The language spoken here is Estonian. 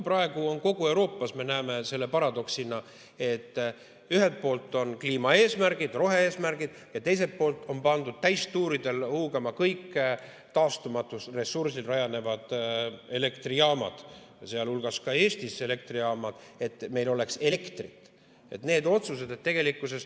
Praegu me näeme kogu Euroopas paradoksi, et ühelt poolt on kliimaeesmärgid, rohe‑eesmärgid, ja teiselt poolt on pandud täistuuridel huugama kõik taastumatul ressursil rajanevad elektrijaamad, sealhulgas Eesti elektrijaamad, et oleks elektrit.